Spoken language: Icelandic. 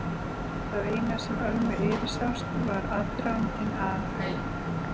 Það eina sem Ölmu yfirsást var aðdragandinn að